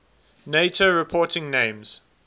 nato reporting names